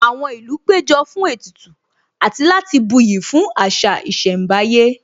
Àwọn ìlú péjọ fún ètùtù àti láti buyì fún àṣà ìṣẹ̀mbáyé